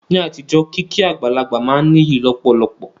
Ní àtijọ́, kíkí àgbàlagbà máa n níyì lọ̀pọ̀lọpọ̀